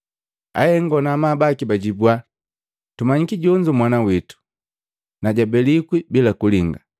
Ahengo na amabu baki bajibua, “Tumanyiki jonzo mwana witu, na jabelikwi bila kulinga.